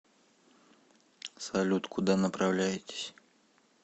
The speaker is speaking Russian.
салют куда направляетесь